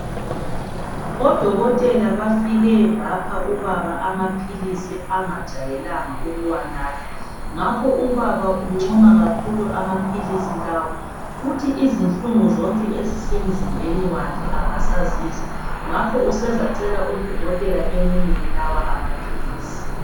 Odokotela bafike bapha ubaba amaphilisi angajayelanga ukuwanatha, ngakho ubaba uncoma kakhulu amaphilisi lawa, uthi izinhlungu zonke ezisemzimbeni wakhe akasazizwa, ngakho usezacela odokotela bamnike lawa amaphilisi.